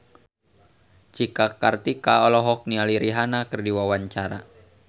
Cika Kartika olohok ningali Rihanna keur diwawancara